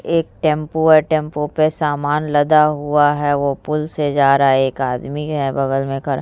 एक टम्पू है टम्पू पे सामान लदा हुआ है वो पूल से जा रहा है एक आदमी है बगल में खड़ा।